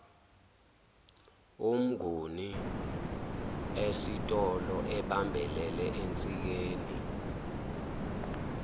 umnguni esitoloebambelele ensikeni